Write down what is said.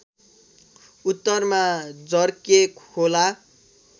उत्तरमा जर्के खोला